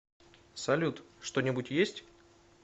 салют что нибудь есть